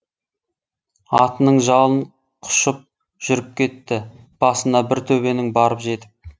атының жалын құшып жүріп кетті басына бір төбенің барып жетіп